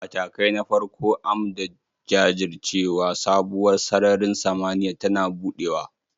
Matakai na farko, m da jajircewa, sabuwar sararin samaniya tana buɗewa